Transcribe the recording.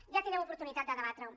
ja tindrem oportunitat de debatre ho